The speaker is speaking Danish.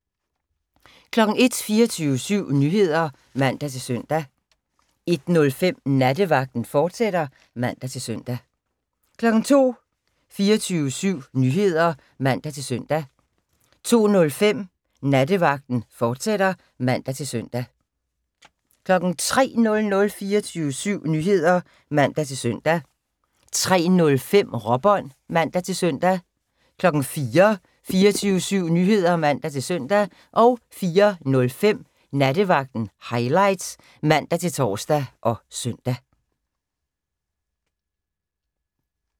01:00: 24syv Nyheder (man-søn) 01:05: Nattevagten, fortsat (man-søn) 02:00: 24syv Nyheder (man-søn) 02:05: Nattevagten, fortsat (man-søn) 03:00: 24syv Nyheder (man-søn) 03:05: Råbånd (man-søn) 04:00: 24syv Nyheder (man-søn) 04:05: Nattevagten Highlights (man-tor og søn)